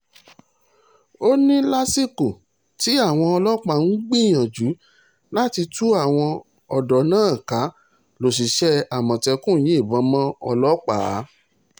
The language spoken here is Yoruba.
ó ní lásìkò tí àwọn ọlọ́pàá ń gbìyànjú láti tú àwọn ọ̀dọ́ náà ká lọ́ṣiṣẹ́ àmọ̀tẹ́kùn yìnbọn mọ́ ọlọ́pàá